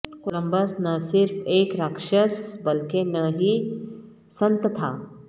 Columbus نہ صرف ایک راکشس بلکہ نہ ہی سنت تھا